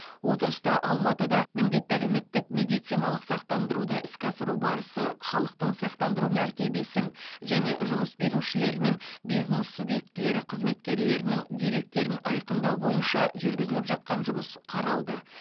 отырыста алматыда міндетті әлеуметтік медициналық сақтандыруды іске асыру барысы халықтың сақтандыру мәртебесін және жұмыс берушілер мен бизнес субъектілері қызметкерлерінің деректерін айқындау бойынша жүргізіліп жатқан жұмыс қаралды